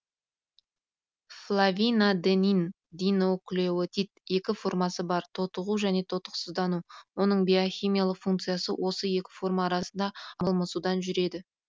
флавинадениндинуклеотид екі формасы бар тотығу және тотықсыздану оның биохимиялық функциясы осы екі форма арасында алмасудан жүреді